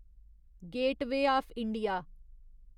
gateway of India